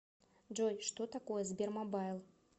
джой что такое сбермобайл